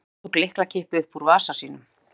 Ragnar tók lyklakippu upp úr vasa sínum.